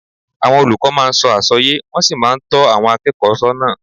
Àwọn olùkọ́ máa ń sọ àwọn àsọyé, wọ́n sì máa ń tọ́ àwọn akẹ́kọ̀ọ́ sọ́nà